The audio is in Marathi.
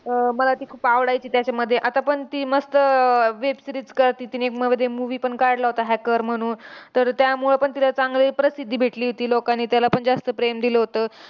अह मला ती खूप आवडायची त्याच्यामध्ये. आतापण ती मस्त अह web series करते. तिने मध्ये movie पण काढला होता hacker म्हणून. तर त्यामुळं पण तिला चांगली प्रसिद्धी भेटली होती, लोकांनी त्यालापण जास्त प्रेम दिलं होतं.